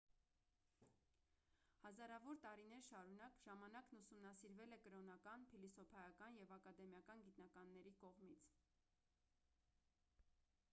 հազարավոր տարիներ շարունակ ժամանակն ուսումնասիրվել է կրոնական փիլիսոփայական և ակադեմիական գիտնականների կողմից